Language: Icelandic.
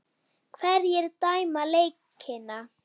Hverjir dæma leikina?